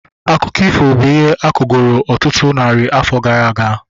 Akụkọ ifo bụ ihe akọgoro ọtụtụ narị afọ gara aga